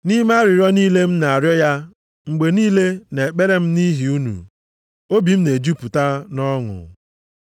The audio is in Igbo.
Nʼime arịrịọ niile m na-arịọ ya mgbe niile nʼekpere m nʼihi unu, obi m na-ejupụta nʼọṅụ.